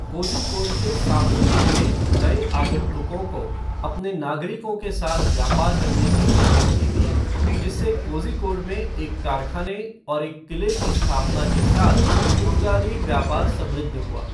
कोज़िकोड के सामूतिरि ने नए आगंतुकों को अपने नागरिकों के साथ व्यापार करने की अनुमति दी, जिससे कोज़िकोड में एक कारखाने और एक क़िले की स्थापना के साथ पुर्तगाली व्यापार समृद्ध हुआ।